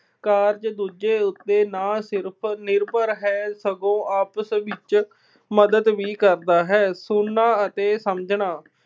ਕਾਰਜ ਦੂਜੇ ਉੱਤੇ ਨਾ ਸਿਰਫ਼ ਨਿਰਭਰ ਹੈ, ਸਗੋਂ ਆਪਸ ਵਿੱਚ ਮਦਦ ਵੀ ਕਰਦਾ ਹੈ। ਸੁਣਨਾ ਅਤੇ ਸਮਝਣਾ